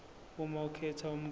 uma ukhetha umbuzo